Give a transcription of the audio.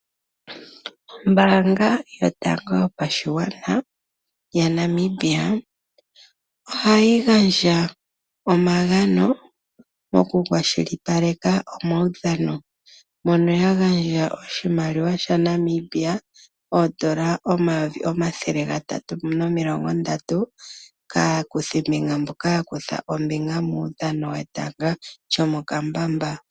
Ombaanga yotango yopashigwana ohayi gandja omagano yaNamibia mokukwashilipaleka omaudhano. Oya gandja oshimaliwa shoondola omayovi omathele gatatu nomilongo ntano kaakuthimbinga yetanga lyomokambamba.